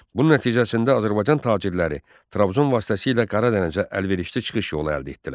Bunun nəticəsində Azərbaycan tacirləri Trabzon vasitəsilə Qara Dənizə əlverişli çıxış yolu əldə etdilər.